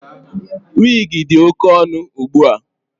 Wigi dị oke ọnụ ugbua.